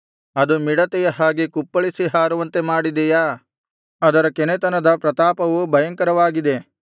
ಅದು ಮಿಡತೆಯ ಹಾಗೆ ಕುಪ್ಪಳಿಸಿ ಹಾರುವಂತೆ ಮಾಡಿದೆಯಾ ಅದರ ಕೆನೆತನದ ಪ್ರತಾಪವು ಭಯಂಕರವಾಗಿದೆ